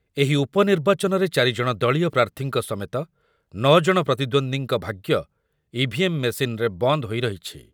ଏହି ଉପନିର୍ବାଚନରେ ଚାରି ଜଣ ଦଳୀୟ ପ୍ରାର୍ଥୀଙ୍କ ସମେତ ନ ଜଣ ପ୍ରତିଦ୍ୱନ୍ଦୀଙ୍କ ଭାଗ୍ୟ ଇଭିଏମ୍ ମେସିନ୍‌ରେ ବନ୍ଦ ହୋଇ ରହିଛି।